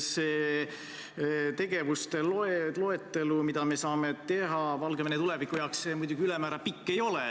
Nende tegevuste loetelu, mida me saame teha Valgevene tuleviku heaks, muidugi ülemäära pikk ei ole.